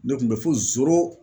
Ne kun bɛ fo